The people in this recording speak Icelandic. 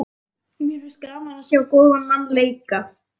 Mér finnst gaman að sjá góðan mann leika.